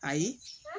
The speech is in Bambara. Ayi